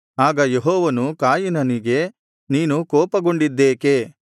ಆಗ ಯೆಹೋವನು ಕಾಯಿನನಿಗೆ ನೀನು ಕೋಪಗೊಂಡಿದ್ದೇಕೆ